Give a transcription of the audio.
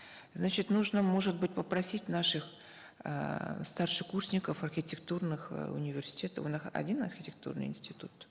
значит нужно может быть попросить наших эээ старшекурсников архитектурных э университетов один архитектурный институт